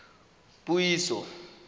puiso